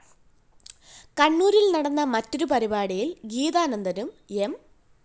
കണ്ണൂരില്‍ നടന്ന മറ്റൊരു പരിപാടിയില്‍ ഗീതാനന്ദനും എം